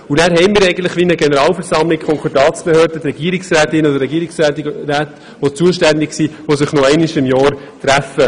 Weiter gibt es eine Art Generalversammlung, bestehend aus der Konkordatsbehörde, den zuständigen Regierungsrätinnen und Regierungsräten, die sich nun noch einmal jährlich treffen.